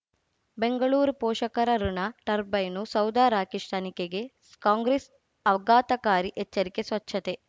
ಬೆಂಗಳೂರು ಪೋಷಕರಋಣ ಟರ್ಬೈನು ಸೌಧ ರಾಕೇಶ್ ತನಿಖೆಗೆ ಕಾಂಗ್ರೆಸ್ ಆಘಾತಕಾರಿ ಎಚ್ಚರಿಕೆ ಸ್ವಚ್ಛತೆ